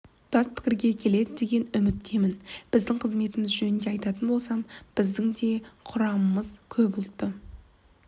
тұтас пікірге келеді деген үміттемін біздің қызметіміз жөнінде айтатын болсам біздің де құрамымыз көп ұлтты